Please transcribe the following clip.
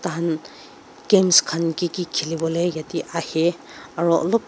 tahan games khan ki ki khiliwole yate ahey aro olop--